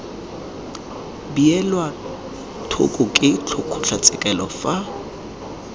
beelwa thoko ke kgotlatshekelo fa